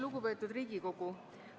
Lugupeetud Riigikogu!